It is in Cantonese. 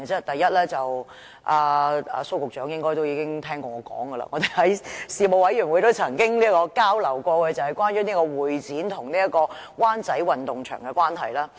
第一，蘇局長應該也曾聽說過的了，我在事務委員會也曾提及，就是關於香港會議展覽中心及灣仔運動場的問題。